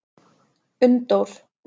Unndór